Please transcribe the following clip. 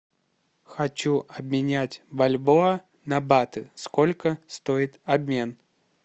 хочу обменять бальбоа на баты сколько стоит обмен